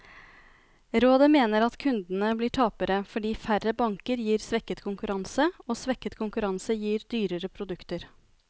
Rådet mener at kundene blir tapere, fordi færre banker gir svekket konkurranse, og svekket konkurranse gir dyrere produkter.